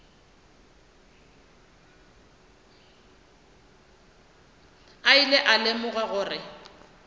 a ilego a lemoga gore